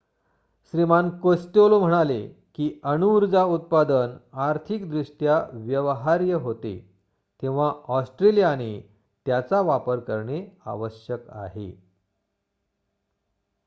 श्रीमान Costello म्हणाले की अणुऊर्जा उत्पादन आर्थिकदृष्ट्या व्यवहार्य होते तेव्हा ऑस्ट्रेलियाने त्याचा वापर करणे आवश्यक आहे